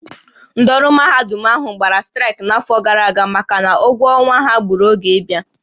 Ndị ọrụ mahadum ahụ gbara straịkị n'afọ gara aga maka na ụgwọ ọnwa ha gbùrù oge ịbịa